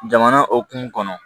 Jamana hokumu kɔnɔ